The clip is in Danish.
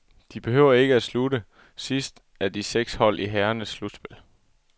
De behøver ikke slutte sidst af de seks hold i herrernes slutspil.